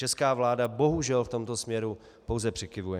Česká vláda bohužel v tomto směru pouze přikyvuje.